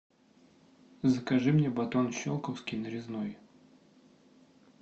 закажи мне батон щелковский нарезной